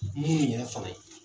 Munnu yɛrɛ fana ye